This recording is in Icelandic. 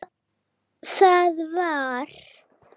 Þar var